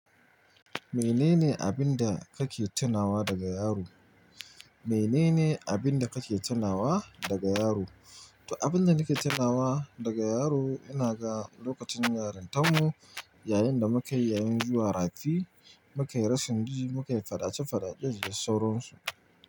Menene abin da kake tunawa daga yaro? Menene abin da kake tunawa daga yaro? To, abin da nake tunawa daga yaro, ina ga lokacin yarintar mu yayin da muka yi yayin zuwa rafi, muka yi rashin ji, muka yi fadace fadace da sauransu.